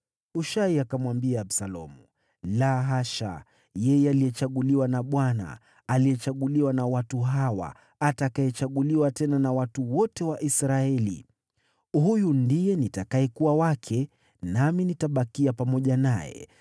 Hushai akamwambia Absalomu, “La hasha, yeye aliyechaguliwa na Bwana , aliyechaguliwa na watu hawa, atakayechaguliwa tena na watu wote wa Israeli, huyu ndiye nitakayekuwa wake, nami nitabakia pamoja naye.